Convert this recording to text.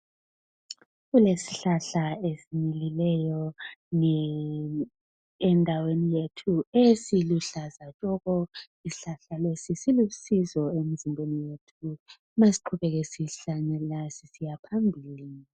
kulezihlahla ezimilileyo endaweni yethui eziluhlaza tshoko njalo silu sizo emzimbeni yethu masiqubenke sihlanyela sisiya phambile